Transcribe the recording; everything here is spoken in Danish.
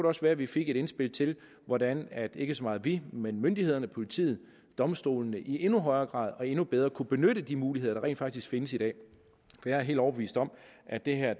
også være at vi fik et indspil til hvordan ikke så meget vi men myndighederne politiet domstolene i endnu højere grad og endnu bedre kunne benytte de muligheder der rent faktisk findes i dag jeg er helt overbevist om at det her